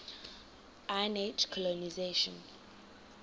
iron age colonisation